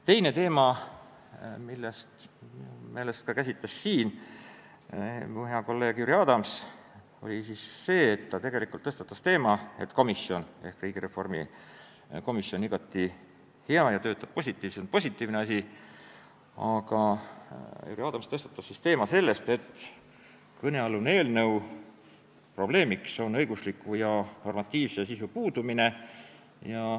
Teine teema, mida minu meelest käsitles siin ka hea kolleeg Jüri Adams, oli see, et riigireformi komisjon on igati hea ja positiivne asi, aga kõnealuse eelnõu probleemiks on õigusliku ja normatiivse sisu puudumine.